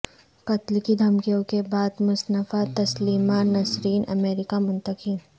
قتل کی دھمکیوں کے بعد مصنفہ تسلیمہ نسرین امریکہ منتقل